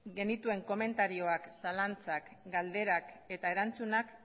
genituen komentarioak zalantzak galderak eta erantzunak